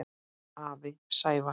Afi Sævar.